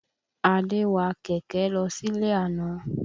Adé wa kẹ̀kẹ́ lọ sílé àna.